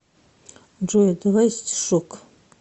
джой давай стишок